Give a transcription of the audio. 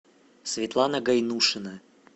светлана гайнушина